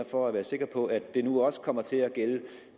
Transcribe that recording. for at være sikker på at det her nu også kommer til at gælde